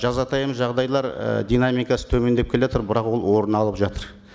жазатайым жағдайлар і динамикасы төмендеп келе жатыр бірақ ол орын алып жатыр